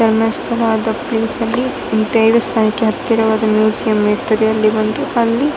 ಧರ್ಮಸ್ಥಳ ಅಂತ ಪ್ಲೇಸ್ ಅಲ್ಲಿ ಈ ದೈವ ಸ್ಥಾನಕ್ಕೆ ಹತ್ತಿರವಾಗಿ ಮ್ಯೂಸಿಯಂ ಇರ್ತದೆ ಅಲ್ಲಿ ಒಂದು ಅಲ್ಲಿ --